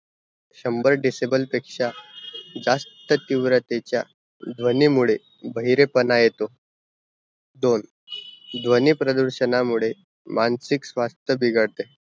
शंभर decible पेक्षा जास्त तीव्रतेच्या ध्वनी मुड़े बहिरे पाना येत, दोन ध्वनी प्रदूरषणा मुड़े मानसिक स्वास्थ बिघड़ते